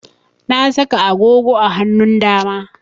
Na saka agogo a hanun dama